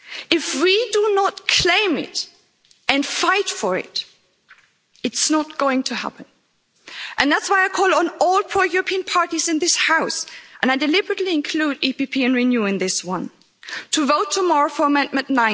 If we do not claim it and fight for it, it's not going to happen. And that's why I call on all pro European parties in this House and I deliberately include PPE and Renew in this one to vote tomorrow for Amendment